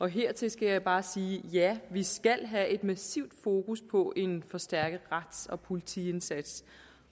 hertil skal jeg bare sige ja vi skal have et massivt fokus på en forstærket rets og politiindsats